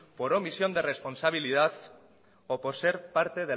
por omisión de responsabilidad o por ser parte